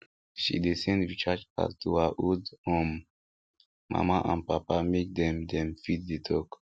she dey send recharge card to her old um mama and papa make dem dem fit dey talk